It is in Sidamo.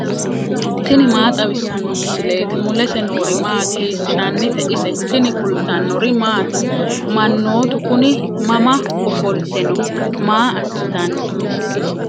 tini maa xawissanno misileeti ? mulese noori maati ? hiissinannite ise ? tini kultannori maati? Manoottu kunni mama offolitte noo? Maa asittanni?